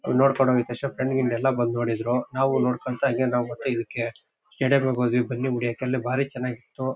ಅಲ್ ನೋಡ್ಕೊಂಡ್ ಹೊಗಿದ್ ತಕ್ಷಣ ಫ್ರೆಂಡ್ ಗಿಂಡ್ ಎಲ್ಲಾ ಬಂದ್ ನೋಡಿದ್ರು. ನಾವೂ ನೋಡ್ಕೊಂತ ಹಾಂಗೆ ನಾವು ಮತ್ತೆ ಇದಕ್ಕೆ ಎಡೆ ಬಿಡೋಕ್ ಹೋದ್ವಿ ಬನ್ನಿ ಮುಡಿಯೋಕೆ ಅಲ್ಲಿ ಭಾರಿ ಚೆನ್ನಾಗಿತ್ತು .